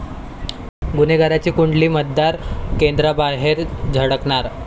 गुन्हेगारांची कुंडली मतदान केंद्रांबाहेर झळकणार